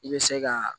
I bɛ se ka